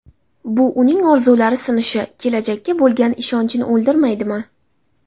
Bu uning orzulari sinishi, kelajakka bo‘lgan ishonchini o‘ldirmaydimi?